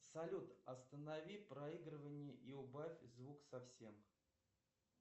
салют останови проигрывание и убавь звук совсем